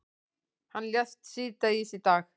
Hann lést síðdegis í dag.